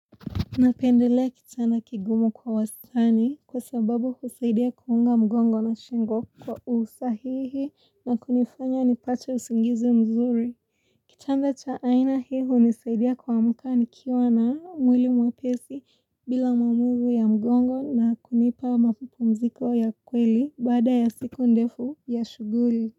Napendelea kitanda kigumu kwa wastani kwa sababu husaidia kuunga mgongo na shingo kwa usahihi na kunifanya nipacha usingizi mzuri. Kitanda cha aina hiu hunisaidia kwamka nikiwa na mwili mwapesi bila maumivu ya mgongo na kunipa mapupumziko ya kweli bada ya siku ndefu ya shuguli.